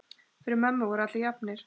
Fyrir mömmu voru allir jafnir.